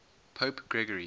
pope gregory